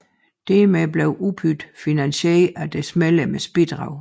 Dermed bliver UPyD finansieret af deres medlemmers bidrag